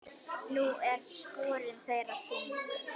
Nú eru sporin þeirra þung.